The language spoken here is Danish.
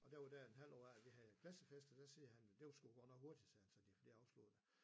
Og der var det en halvt år af vi havde klassefest og siger han det var sgu godt nok hurtigt sagde han så de havde fået dét afsluttet